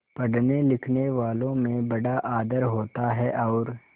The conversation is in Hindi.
पढ़नेलिखनेवालों में बड़ा आदर होता है और